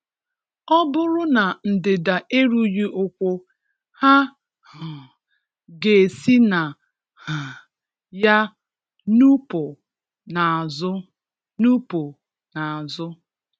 Ọ bụrụ na ndịda erughị ụkwụ, ha um ga-esi na um ya nupụ n’azụ nupụ n’azụ